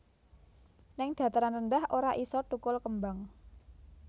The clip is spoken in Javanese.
Ning dataran rendah ora iso tukul kembang